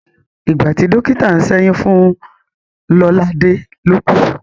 Ìgbàtí dọ́kítà ń ṣẹ́yún fún Lọ́ládẹ́ ló kú.